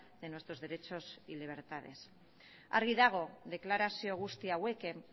de nuestros derechos y libertades argi dago deklarazio guzti hauekin